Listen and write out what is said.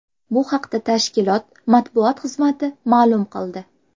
Bu haqda tashkilot matbuot xizmati ma’lum qildi .